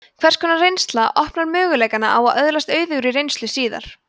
hvers konar reynsla opnar möguleikana á að öðlast auðugri reynslu síðar